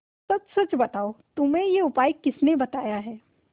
सच सच बताओ तुम्हें यह उपाय किसने बताया है